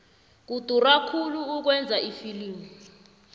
kudura khulu ukwenza ifilimu